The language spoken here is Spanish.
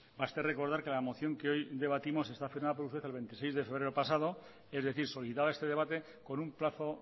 basta recordar que la moción que hoy debatimos está firmada por cierto el veintiséis de febrero pasado es decir solicitaba este debate con un plazo